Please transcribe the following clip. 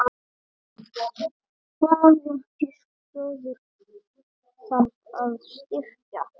Hvaða stöður þarf að styrkja?